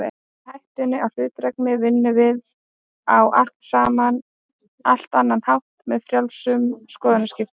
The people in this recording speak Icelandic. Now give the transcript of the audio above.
Gegn hættunni á hlutdrægni vinnum við á allt annan hátt, með frjálsum skoðanaskiptum.